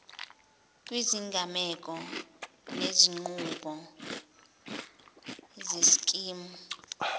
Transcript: kwizigameko nezinqubo zeskimu